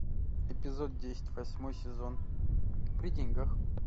эпизод десять восьмой сезон при деньгах